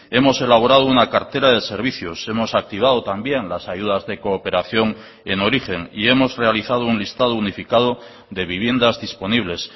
hemos elaborado una cartera de servicios hemos activado también las ayudas de cooperación en origen y hemos realizado un listado unificado de viviendas disponibles